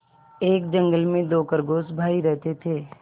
एक जंगल में दो खरगोश भाई रहते थे